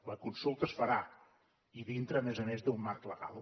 la consulta es farà i dintre a més a més d’un marc legal